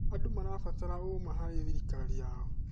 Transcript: Andũ marabataraga ũma harĩ thirikari yao.